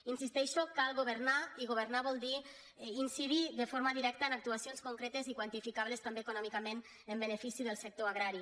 hi insisteixo cal governar i governar vol dir inci·dir de forma directa en actuacions concretes i quan·tificables també econòmicament en benefici del sec·tor agrari